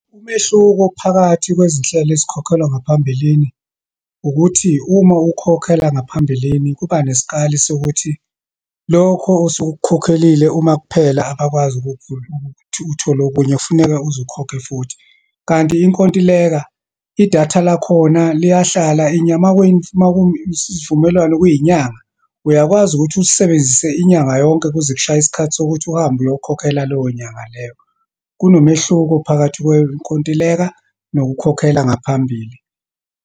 Umehluko phakathi kwezinhlelo ezikhokhelwa ngaphambilini, ukuthi uma ukhokhela ngaphambilini kuba nesikali sokuthi lokho osuke ukukhokhelile uma kuphela abakwazi ukuthi uthole okunye, kufuneke uze ukhokhe futhi. Kanti inkontileka, idatha lakhona liyahlala uma isivumelwano kuyinyanga, uyakwazi ukuthi ulisebenzise inyanga yonke kuze kushaye isikhathi sokuthi uhambe uyokhokhela leyo nyanga leyo. Kunomehluko phakathi kwenkontileka nokukhokhela ngaphambili.